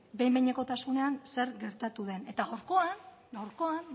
behin behinekotasunean zer gertatu den eta gaurkoan gaurkoan